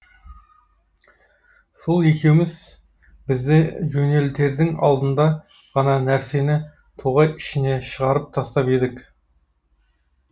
сол екеуіміз бізді жөнелтердің алдында ғана нәрсені тоғай ішіне шығарып тастап едік